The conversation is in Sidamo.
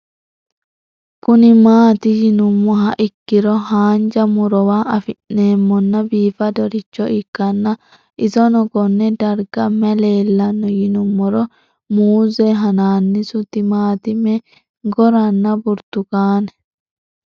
Kuni mati yinumoha ikiro hanja murowa afine'mona bifadoricho ikana isino Kone darga mayi leelanno yinumaro muuze hanannisu timantime gooranna buurtukaane